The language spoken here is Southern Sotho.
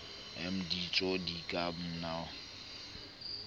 mbm ditso di ka una